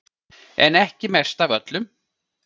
En ekki mest af öllum